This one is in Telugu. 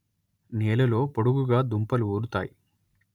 నేలలో పొడుగుగా దుంపలు ఊరుతాయి